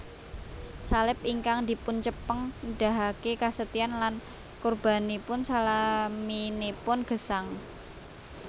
Salib ingkang dipuncepeng nedahaken kasetyan lan kurbanipun salaminipun gesang